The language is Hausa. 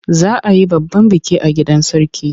Za a yi babban biki a gidan Sarki.